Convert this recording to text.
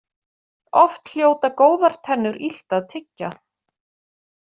Oft hljóta góðar tennur illt að tyggja.